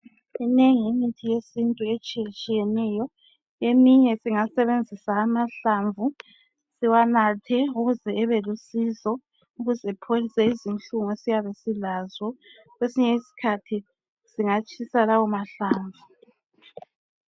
Iminengi imithi yesintu etshiyetshiyeneyo. Eminye singasebenzisa amahlamvu siwanathe ukuze ebelusizo ukuze apholise izinhlungu esiyabe silazo. Kwesinye isikhathi singatshisa lawomahlamvu.